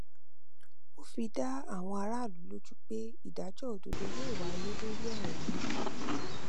ó fi dá àwọn aráàlú lójú pé ìdájọ òdodo yóò wáyé lórí ọrọ náà